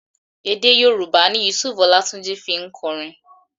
Èdé Yorùbá ni Yusuf Ọlátúnjí fi ń kọrin.